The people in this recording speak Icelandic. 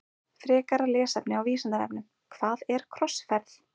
Frekara lesefni á Vísindavefnum Hvað er krossferð?